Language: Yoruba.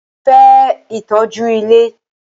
Mo fẹ́ ìtọ́jú ilé!